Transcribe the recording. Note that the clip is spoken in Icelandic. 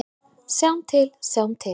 Sjáum til, sjáum til.